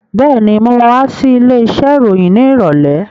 Been, mo ma wá sí ilé iṣẹ́ ìròyìn ní ìrọ̀lẹ́